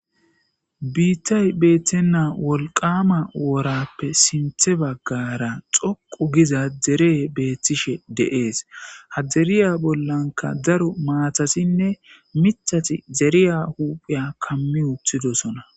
Biiththay beeththenna wolqqaama worappe sinththe baggaara xoqu giza deree beeththishe de7ees; ha deriya bollankka daro maathathinne miththathi deriyaa hupheya kammi uththidosona,